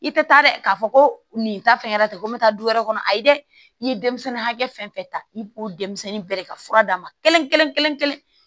I tɛ taa dɛ k'a fɔ ko nin ta fɛn kɛra ten ko n bɛ taa du wɛrɛ kɔnɔ ayi dɛ i ye denmisɛnnin hakɛ fɛn fɛn ta i b'o denmisɛnnin bɛɛ de ka fura d'a ma kelen kelen kelen